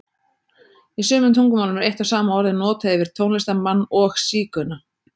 Í sumum tungumálum er eitt og sama orðið notað yfir tónlistarmann og sígauna.